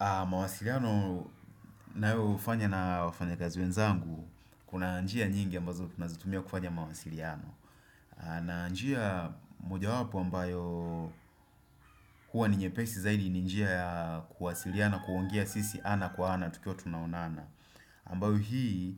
Mawasiliano ninaoufanya na wafanyakazi wenzangu Kuna njia nyingi ambazo tunazitumia kufanya mawasiliano na njia mojawapo ambayo huwa ni nyepesi zaidi ni njia ya kuwasiliana kuongea sisi ana kwa ana tukiwa tunaonana ambayo hii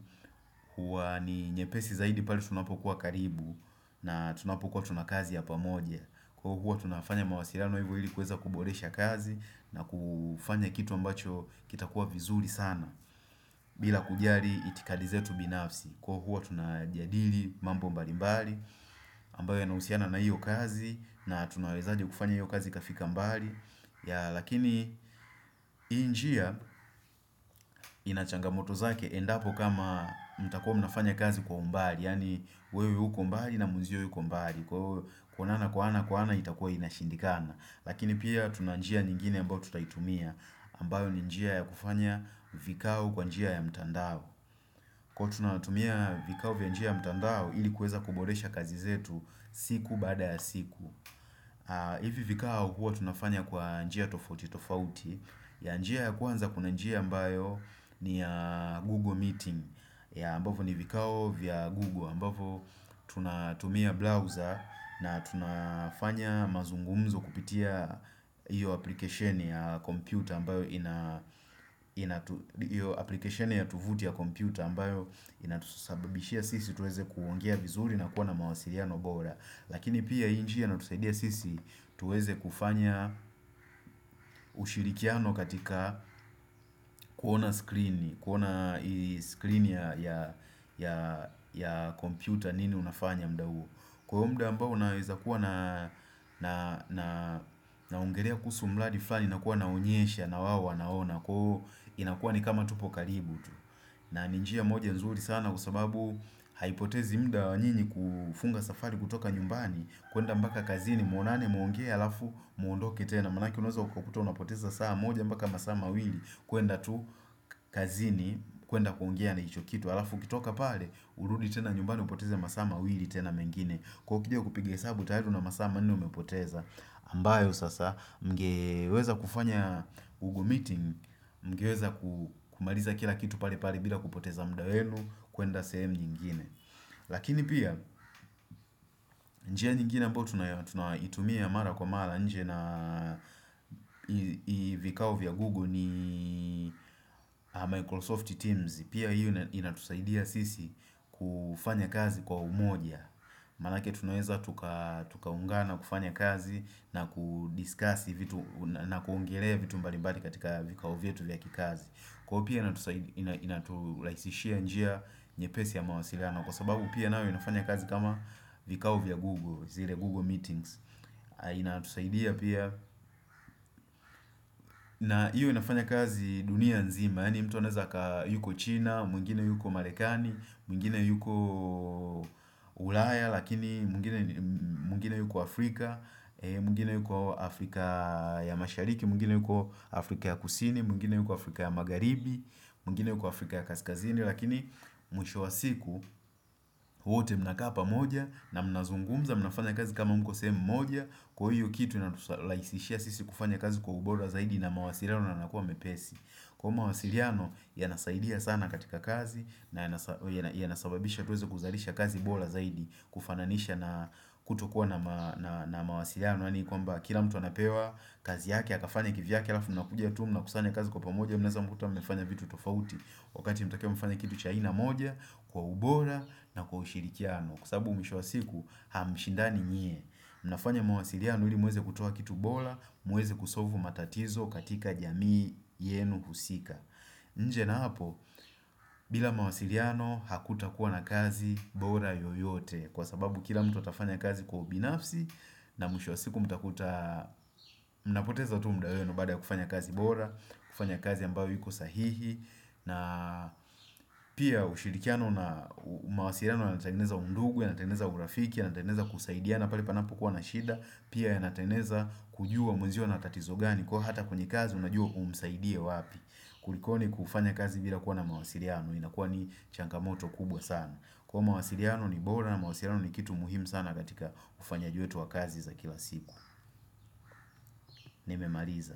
huwa ni nyepesi zaidi pale tunapokuwa karibu na tunapokuwa tuna kazi ya pamoja Kwa huwa tunafanya mawasiliano hivyo ili kuweza kuboresha kazi na kufanya kitu ambacho kitakuwa vizuri sana bila kujali itikadi zetu binafsi kwa huwa tunajadili mambo mbali mbali ambayo yanahusiana na hiyo kazi na tunawezaje kufanya hiyo kazi ikafika mbali lakini hii njia ina changamoto zake endapo kama mtakuwa mnafanya kazi kwa umbali yani wewe uko mbali na mwenzio yuko mbali kuonana kwa ana kwa ana itakuwa inashindikana lakini pia tuna njia nyingine ambayo tutaitumia ambayo ni njia ya kufanya vikao kwa njia ya mtandao kwa tunatumia vikao vya njia ya mtandao ilikuweza kuboresha kazi zetu siku baada ya siku hivi vikao huwa tunafanya kwa njia tofauti tofauti ya njia ya kwanza kuna njia ambayo ni ya Google meeting ya ambavo ni vikao vya Google ambavo tunatumia browser na tunafanya mazungumzo kupitia hiyo aplikesheni ya kompyuta ambayo inatusababishia sisi tuweze kuongea vizuri na kuwa na mawasiliano bora lakini pia hii njia inatusaidia sisi tuweze kufanya ushirikiano katika kuona skrini ya kompyuta nini unafanya muda huo Kwa muda ambao unaweza kuwa naongelea kuhusu mradi flani na kuwa naonyesha na wao wanaona inakuwa ni kama tupo karibu tu na ni njia moja nzuri sana kwa sababu haipotezi muda wa nyinyi kufunga safari kutoka nyumbani kuenda mpaka kazini muonane muongee alafu muondoke tena manake unaweza kukuta unapoteza saa moja mpaka masaa mawili kuenda tu kazini kuenda kuongea na hicho kitu alafu ukitoka pale, urudi tena nyumbani upoteze masaa mawili tena mengine kwa ukija kupiga hesabu tayari una masaa manne umepoteza, ambayo sasa mngeweza kufanya google meeting, mngeweza kumaliza kila kitu pale pale bila kupoteza muda wenu, kuenda same nyingine, lakini pia njia nyingine ambayo tunaitumia mara kwa mara, nje na vikao via Google ni Microsoft Teams, pia hiyo inatusaidia sisi kufanya kazi kwa umoja. Manake tunaweza tukaungana na kufanya kazi na kudiskasi vitu na kuongelea vitu mbali mabli katika vikao vyetu vya kikazi kwa pia inaturahisishia njia nyepesi ya mawasiliano kwa sababu pia nayo inafanya kazi kama vikao vya Google zile Google meetings. Inatusaidia pia. Na hiyo inafanya kazi dunia nzima. Yaani mtu anaweza yuko China, mwingine yuko Marekani, mwingine yuko ulaya lakini mwingine yuko Afrika mwingine yuko Afrika ya mashariki mwingine yuko Afrika ya Kusini mwingine yuko Afrika ya Magharibi mwingine yuko Afrika ya Kaskazini lakini mwisho wa siku wote mnakaa moja na mnazungumza mnafanya kazi kama mko sehemu moja Kwa hiyo kitu inaturahisishia sisi kufanya kazi kwa ubora zaidi na mawasiliano yanakuwa mepesi Kwa mawasiliano yanasaidia sana katika kazi na yanasababisha tuweze kuzalisha kazi bora zaidi kufananisha na kutokuwa na na mawasiliiano yaani kwamba kila mtu anapewa kazi yake akafanye kivyake alafu mnakuja tu mnakusanya kazi kwa pamoja mnaweza kuta mmefanya vitu tofauti wakati mnatakiwa mfanye kitu cha aina moja kwa ubora na kwa ushirikiano Kwa sababu mwisho wa siku hamshindani nyie mnafanya mawasiliano ili muweze kutoa kitu bora muweze kusolvu matatizo katika jamii yenu husika nje na hapo bila mawasiliano hakutakuwa na kazi bora yoyote kwa sababu kila mtu atafanya kazi kwa ubinafsi na mwisho wa siku mtakuta mnapoteza tu muda wenu baada ya kufanya kazi bora kufanya kazi ambayo haiko sahihi na pia ushirikiano na mawasiliano yanatengeneza undugu yanatengeneza urafiki, yanatengeneza kusaidiana pale panapokuwa na shida Pia yanatengeneza kujua mwenzio ana tatizo gani kwa hata kwenye kazi unajua umsaidie wapi kulikoni kufanya kazi bila kuwa na mawasiliano inakuwa ni changamoto kubwa sana kuwa mawasiliano ni bora na mawasiliano ni kitu muhimu sana katika ufanyaji wetu wa kazi za kila siku. Nimemaliza.